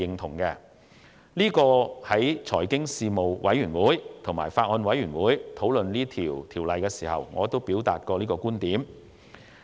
在財經事務委員會和法案委員會討論《條例草案》時，我亦曾表達這個觀點。